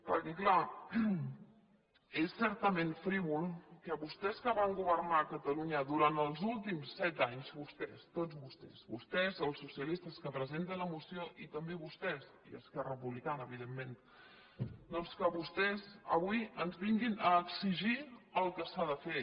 perquè clar és certament frívol que vostès que van governar catalunya durant els últims set anys vostès tots vostès vostès els socialistes que presenten la moció i també vostès i esquerra republicana evidentment doncs que vostès avui ens vinguin a exigir el que s’ha de fer